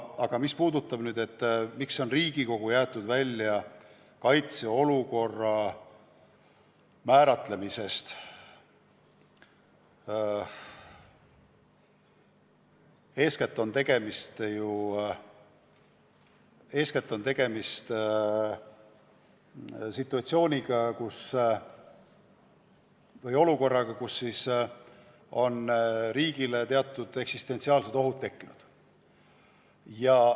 Aga mis puudutab seda, miks on Riigikogu välja jäetud kaitseolukorra määratlemisest, siis eeskätt on tegemist situatsiooniga, kus riiki ähvardavad teatud eksistentsiaalsed ohud.